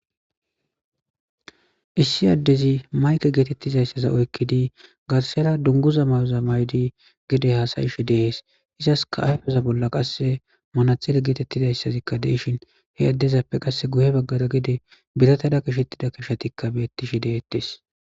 Issi addezi mayke geetettizayssaza oykkidi garsela dunguza mayoza maydi gede haasayish dehees izas ka ayfeza bolla qasse manathele geetettizayssazikka deishin he addezappe qasse guhe baggada gede biratada kishettida kishetikka beettishi dehettes.